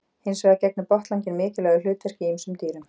Hins vegar gegnir botnlanginn mikilvægu hlutverki í ýmsum dýrum.